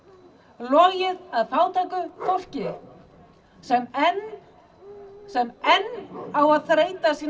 logið að fátæku fólki sem enn sem enn á að þreyta sína